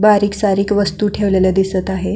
बारीक सारीक वस्तू ठेवलेल्या आहेत.